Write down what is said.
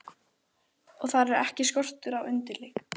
Og þar er ekki skortur á undirleik.